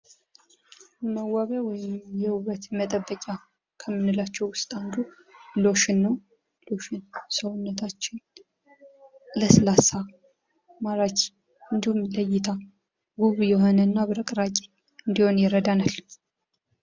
መዋቢያ ወይም የውበት መጠበቂያ ከምንላቸው ውስጥ አንዱ ሎሽን ነው ሰውነታችንን ለስላሳ ማራኪ እንዲሁም ለይታ የሆነና አብቅራቂ እንዲሆን ይረዳናል።